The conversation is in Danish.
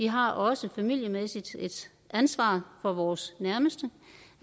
har også familiemæssigt et ansvar for vores nærmeste